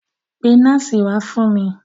Pe nọ́ọ̀sì wá fún mi.